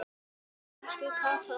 Elsku Katla okkar.